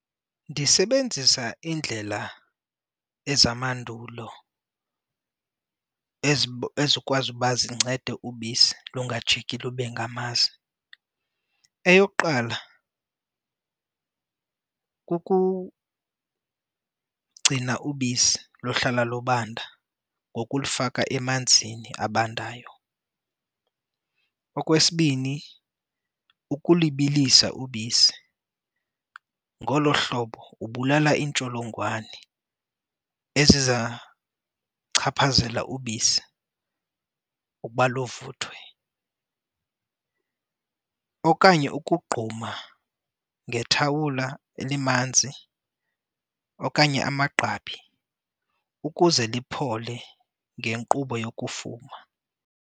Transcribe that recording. Ndisebenzisa indlela ezamandulo ezikwazi uba zincede ubisi lungajiki lube ngamasi. Eyokuqala, kukugcina ubisi luhlala lubanda ngokulifaka emanzini abandayo. Okwesibini, ukulibilisa ubisi, ngolo hlobo ubulala iintsholongwane ezizawuchaphazela ubisi ukuba luvuthwe okanye ukugquma ngethawula elimanzi okanye amagqabi ukuze lipholile ngenkqubo yokufuma.